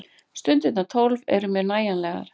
Stundirnar tólf eru mér nægjanlegar.